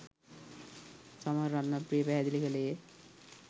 සමන් රත්නප්‍රිය පැහැදිළි කළේය